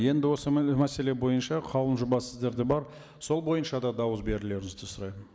енді осы мәселе бойынша қаулының жобасы сіздерде бар сол бойынша да дауыс берулеріңізді сұраймын